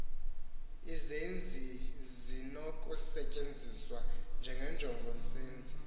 izenzi zinokusetyenziswa nenjongosenzi